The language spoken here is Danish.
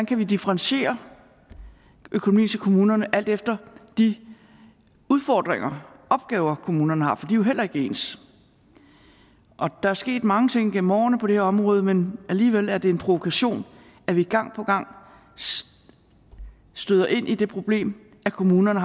kan differentiere økonomien til kommunerne alt efter de udfordringer opgaver kommunerne har for de er jo heller ikke ens der er sket mange ting igennem årene på det her område men alligevel er det en provokation at vi gang på gang støder ind i det problem at kommunerne